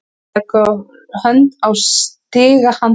Leggur hönd á stigahandriðið.